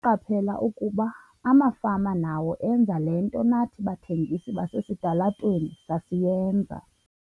"Ndaqaphela ukuba amafama nawo enza le nto nathi bathengisi basesitalatweni sasiyenza."